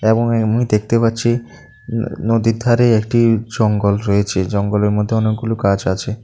এবং এমনি দেখতে পাচ্ছি নদীর ধারে একটি জঙ্গল রয়েছে জঙ্গলের মধ্যে অনেকগুলো গাছ আছে।